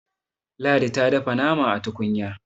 ladi ta dafa nama a tukunya